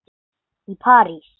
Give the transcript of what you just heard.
í París.